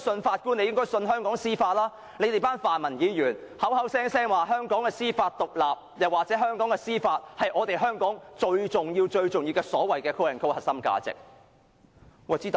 他們更會說我們這群泛民議員，口口聲聲說香港司法獨立，又或香港的司法是最重要的核心價值。